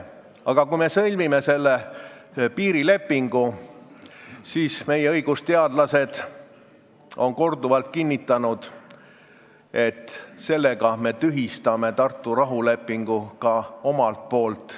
Aga kui me sõlmime selle piirilepingu, siis – meie õigusteadlased on seda korduvalt kinnitanud – sellega me tühistame Tartu rahulepingu ka omalt poolt.